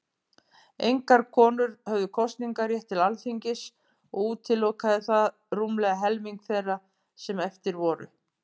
Engar konur höfðu kosningarétt til Alþingis, og útilokaði það rúmlega helming þeirra sem eftir voru.